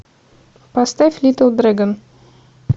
поставь литл дрэгон